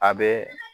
A bɛ